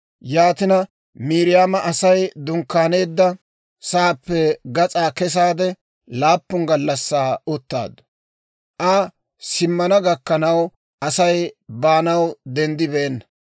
Yaatina Miiriyaama Asay dunkkaaneedda sa'aappe gas'aa kesaade laappun gallassaa uttaaddu. Aa simmana gakkanaw Asay baanaw denddibeenna.